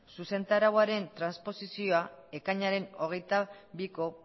zuzentarauaren transposizioa ekainaren hogeita biko